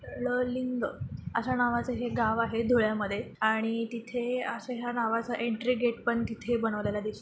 ललिंग अश्या नावाचं एक गावं आहे धुळ्या मध्ये आणि तिथे अशा ह्या नावाचं एन्ट्री गेट पण तिथे बनवलेलं दिस--